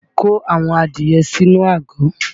Kó àwọn adìye sínú àgò!